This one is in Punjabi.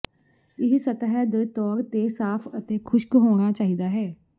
ਇਹ ਸਤਹ ਦੇ ਤੌਰ ਤੇ ਸਾਫ਼ ਅਤੇ ਖੁਸ਼ਕ ਹੋਣਾ ਚਾਹੀਦਾ ਹੈ